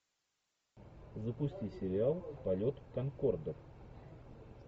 запусти сериал полет конкордов